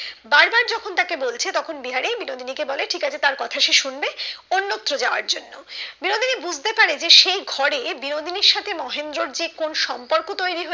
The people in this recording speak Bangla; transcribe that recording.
বার বার যখন তাকে বলছে তখন বিহারি বিনোদিনী কে বলে ঠিক আছে তার কথা সে শুনবে অন্যত্র যাওয়ার জন্য বিনোদিনী বুঝতে পারে যে সে ঘরে বিনোদিনির সাথে মহেন্দ্রর যে কোন সম্পর্ক তৈরি